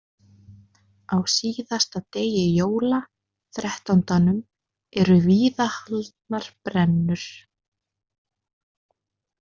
Á síðasta degi jóla, Þrettándanum, eru víða haldnar brennur.